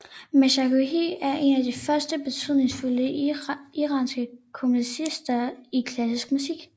Mashayekhi er en af de første betydningsfulde iranske komponister i klassisk musik